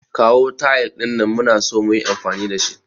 Kawo tayil din nan, muna so muyi amfani da shi.